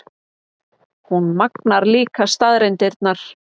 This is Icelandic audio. Hún magnar líka staðreyndirnar.